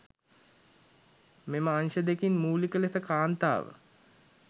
මෙම අංශ දෙකින් මූලික ලෙස කාන්තාව